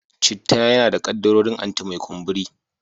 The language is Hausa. Citta yana da kaddarorin anti-mai kumburi.